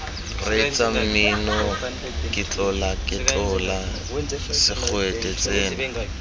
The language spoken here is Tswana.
reetsa mmino ketlolaketlola segwete tsena